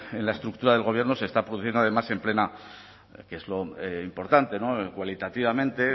en la estructura del gobierno se está produciendo además en plena que es lo importante cualitativamente